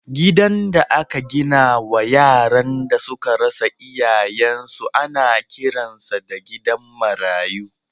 Gidan da aka gina wa yaran da suka rasa iyayensu ana kiransa da gidan marayu.